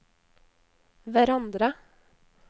hverandre